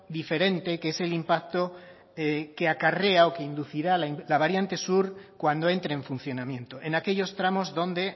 diferente que es el impacto que acarrea o que inducirá la variante sur cuando entre en funcionamiento en aquellos tramos donde